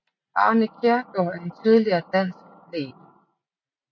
Arne Kjærgaard er en tidligere dansk atlet